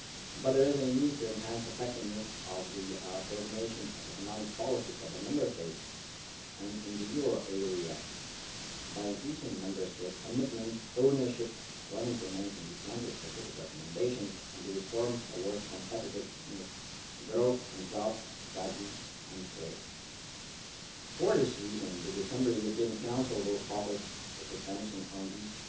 But there is a need to enhance the effectiveness of the coordination of the economic policies of the Member States and in the euro area by increasing Member States' commitment and ownership when implementing the country specific recommendations and the reforms towards competitiveness, growth and jobs that these entail. For this reason the December European Council will focus its attention on